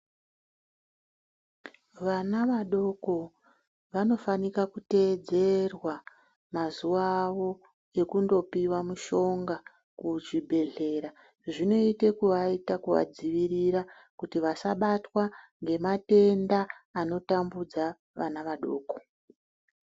Vana vadoko vanofanika kuteedzerwa mazuwa awo ekundopiwa mishonga kuchibhehlera. Zvinoite kuvaita kuvadzivirira kuti vasabatwa ngematenda anotambudza vana vadoko.